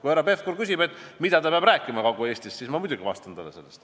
Kui härra Pevkur küsib, mida ta peab rääkima Kagu-Eestis, siis ma muidugi vastan talle.